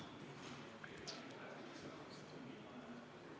Istungi lõpp kell 18.17.